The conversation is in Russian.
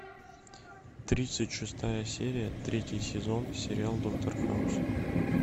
тридцать шестая серия третий сезон сериал доктор хаус